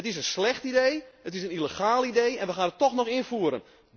Het is een slecht idee, het is een illegaal idee en we gaan het tóch invoeren.